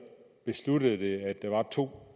besluttede det at der var to